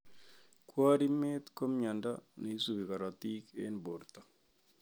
Kwarimet ko mnyondo neisubi korotik eng borto